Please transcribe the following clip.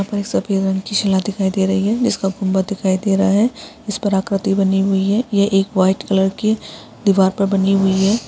सफेद रंग की शिला दिखाई दे रही है उसका गुंबद दिखाई दे रहा है इस पर आकृति बनी हुई है यह एक व्हाइट कलर की दीवार पर बनी हुई हैं।